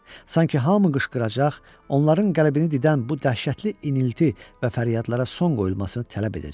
Sanki hamı qışqıracaq, onların qəlbini didən bu dəhşətli inilti və fəryadlara son qoyulmasını tələb edəcək.